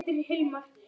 Hrönn og Tómas.